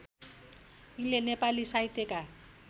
यिनले नेपाली साहित्यका